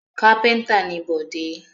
Kápẹ́ńtà ni Bọ̀dé.